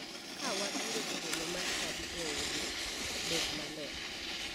Ka wabiro e romo mar chadi e odi, bed maler.